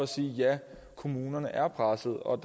sige at ja kommunerne er pressede og